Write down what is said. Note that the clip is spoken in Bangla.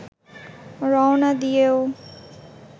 রওনা দিয়েও